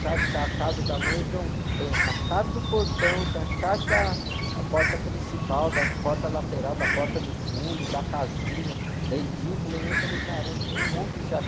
chave da casa da mãe, então tem a chave do portão, tem a chave da, a porta principal, da porta lateral, da porta do fundo, da casinha, da edícula, e eu falei, caramba, tem um monte de chave.